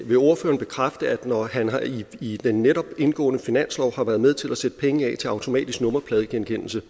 vil ordføreren bekræfte at når han i den netop indgåede finanslov har været med til at sætte penge af til automatisk nummerpladegenkendelse